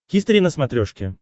хистори на смотрешке